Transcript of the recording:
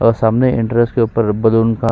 और सामने इंटरेस्ट के ऊपर बलून का --